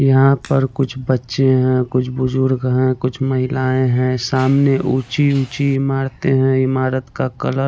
यहाँ पर कुछ बच्चे है कुछ बुजुर्ग है कुछ महिलायें है सामने ऊंची-ऊंची इमार्ते हैं इमारत का कलर --